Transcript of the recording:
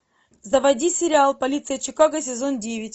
заводи сериал полиция чикаго сезон девять